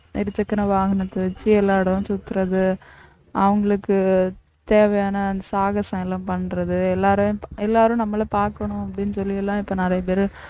இருசக்கர வாகனத்தை வச்சு எல்லா இடமும் சுத்துறது அவங்களுக்கு தேவையான சாகசம் எல்லாம் பண்றது எல்லாரை எல்லாரும் நம்மளை பாக்கணும் அப்படின்னு சொல்லி எல்லாம் இப்ப நிறைய பேரு